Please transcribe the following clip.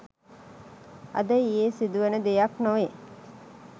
අද ඊයේ සිදුවන දෙයක් නොවේ